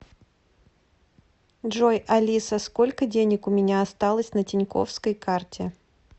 джой алиса сколько денег у меня осталось на тинькоффской карте